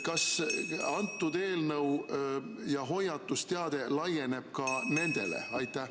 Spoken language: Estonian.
Kas see eelnõu ja hoiatusteade laieneb ka nendele?